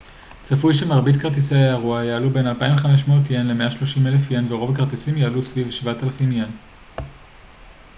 צפוי שמרבית כרטיסי האירוע יעלו בין ¥2,500 ל-¥130,000 ורוב הכרטיסים יעלו סביב ¥7,000